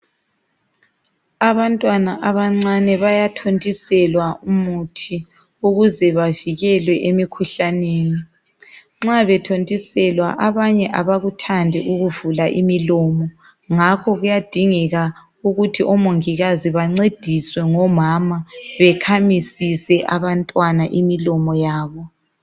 Abantwana abancane bayathontiselwa umuthi ukuze bavikelwe emikhuhlaneni. Nxa bethontiselwa abanye abakuthandi ukuvula imilomo ngakho kuyadingeka ukuthi omongikazi bancediswe ngomama bekhamisise abantwana imilomo yabo.